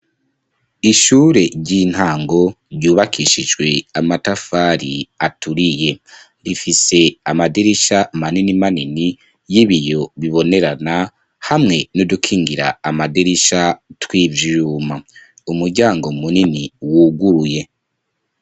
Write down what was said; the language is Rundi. Ishure ry'intango ryubakishijwe amatafari aturiye rifise amaderisha manini manini y'ibiyo bibonerana hamwe n'udukingira amaderisha tw'ivyyuma umuryango munini wuguruye.